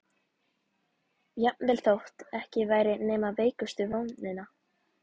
Jafnvel þótt ekki væri nema veikustu vonina.